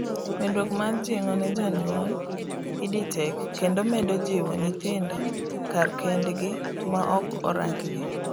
medruok mar jing'o ne jonyuolEdTech kendo medo jiwo nyithindo kar kendgi maok orang gi